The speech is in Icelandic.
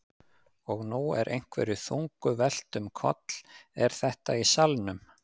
Og nú er einhverju þungu velt um koll. er þetta í salnum?